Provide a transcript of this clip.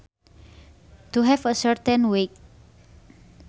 To have a certain weight